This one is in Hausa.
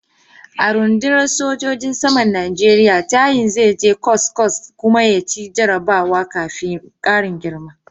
A rundunar sojojin saman Najeriya tayin zai je kwasa-kwasa kuma ya ci jarabawa kafin karin girma.